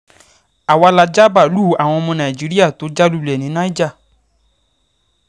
àwa la ja báàlúù àwọn ọmọ ogun nàìjíríà tó já lulẹ̀ ní niger